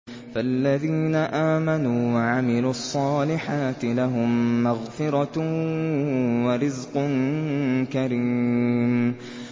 فَالَّذِينَ آمَنُوا وَعَمِلُوا الصَّالِحَاتِ لَهُم مَّغْفِرَةٌ وَرِزْقٌ كَرِيمٌ